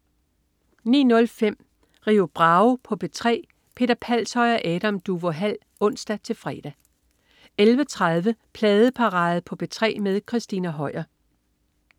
09.05 Rio Bravo på P3. Peter Palshøj og Adam Duvå Hall (ons-fre) 11.30 Pladeparade på P3 med Christina Høier